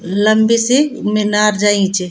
लम्बी सी मीनार जयीं च।